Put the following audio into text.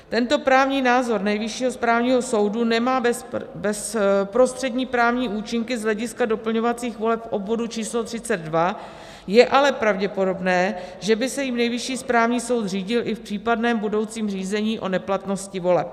Tento právní názor Nejvyššího správního soudu nemá bezprostřední právní účinky z hlediska doplňovacích voleb v obvodu č. 32, je ale pravděpodobné, že by se jím Nejvyšší správní soud řídil i v případném budoucím řízení o neplatnosti voleb.